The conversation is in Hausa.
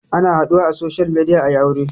Ana haɗuwa a social media ayi aure